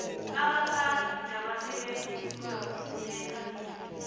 abaphathi nabasebenzi kuzakufuneka